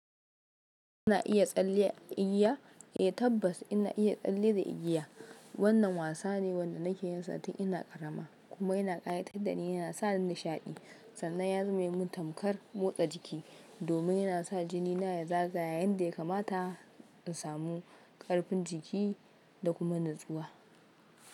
Ina iya tsalle a igiya? Eh tabbas ina iya tsalle da igiya. Wannan wasa ne wanda nake yinsa tun ina karama kuma yana ƙayatar da ni yana sa nishaɗi. Sannan ya zame min tamkar motsa jiki domin yana sa jinina ya zaga yayinda ya kamata in samu ƙarfin jiki da kuma natsuwa.